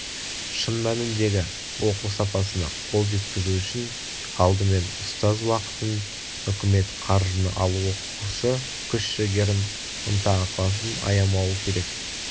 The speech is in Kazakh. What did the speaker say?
шын мәніндегі оқу сапасына қол жеткізу үшін алдымен ұстаз уақытын үкімет қаржыны ал оқушы күш-жігерін ынта-ықыласын аямауы керек